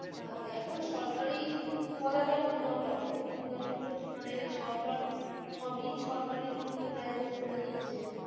থাকে এখন সরকারি বলাটাও ভুল হবে আজকের দিনে দাড়িয়ে তো মানে সরকার সবই সরকারি গুলো কে private করে দিচ্ছে